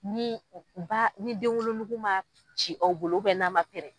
Ni ba ni denwolonugu ma ci, aw bolo n'a ma pɛrɛn